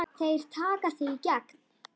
Þeir taka þig í gegn!